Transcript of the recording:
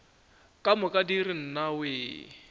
ka moka di re nnawee